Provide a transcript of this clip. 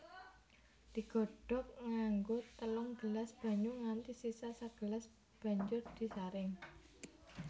Digodhog nganggo telung gelas banyu nganti sisa sagelas banjur disaring